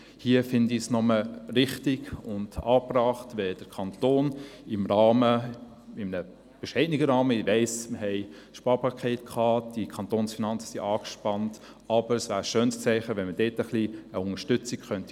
Daher fände ich es richtig und angebracht, wenn der Kanton in einem bescheidenen Rahmen – ich weiss, dass wir ein Sparpaket hatten, die Kantonsfinanzen sind angespannt – ein Zeichen setzten und dieser sehr wertvollen Arbeit eine Unterstützung zusprächen.